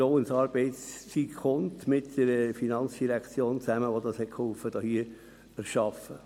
Das gilt auch für die FIN, die geholfen hat, dies zu erschaffen.